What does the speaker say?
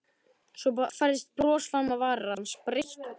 Svo færðist bros fram á varir hans, breitt bros.